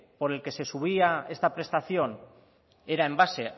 por el que se subía esta prestación era en base